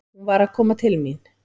Hún var að koma til mín.